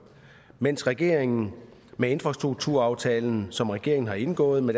mens regeringen med infrastrukturaftalen som regeringen har indgået med